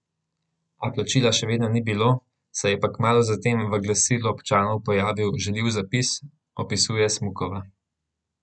A plačila še vedno ni bilo, se je pa kmalu zatem v Glasilu občanov pojavil žaljiv zapis, opisuje Smukova.